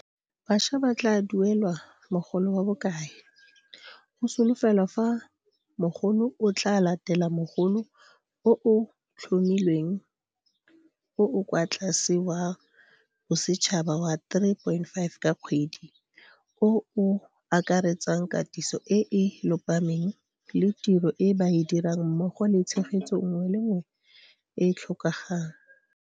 Bašwa ba tla duelelwa mogolo wa bokae? Go solofelwa fa mogolo o tla latela mogolo o o tlhomilweng o o kwa tlase wa bosetšhaba wa R3 500 ka kgwedi, o o akaretsang katiso e e lopameng le tiro e ba e dirang mmogo le tshegetso nngwe le nngwe e e tlhokagang